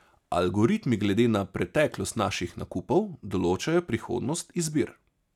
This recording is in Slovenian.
Algoritmi glede na preteklost naših nakupov določajo prihodnost izbir.